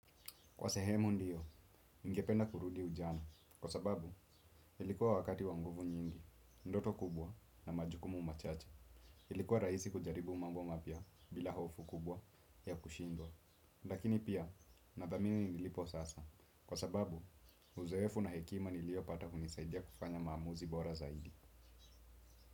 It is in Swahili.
Kwa sehemu ndiyo, ningependa kurudi ujana, kwa sababu, ilikuwa wakati wa nguvu nyingi, ndoto kubwa na majukumu machache, ilikuwa raisi kujaribu mambo mapya bila hofu kubwa ya kushindwa. Lakini pia, nathamini nilipo sasa, kwa sababu, uzoefu na hekima niliyo pata hunisaidia kufanya mamuzi bora zaidi.